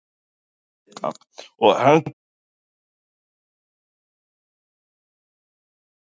Jóhanna: Og heldurðu að þú eyðir meiru þegar þú ert svona seinn í þessu?